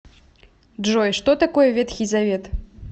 джой что такое ветхий завет